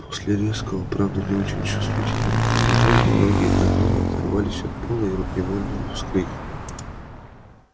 после резкого правда не очень чувствительного торможения ноги гаала оторвались от пола и он невольно вскрикнул